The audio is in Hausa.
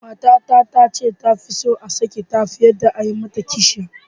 Matata ta ce ta fi son a sake ta fiye da a yi mata kishiya.